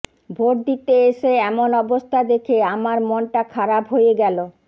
vote দিতে এসে এমন অবস্থা দেখে আমার মনটা খারাপ হয়ে গেল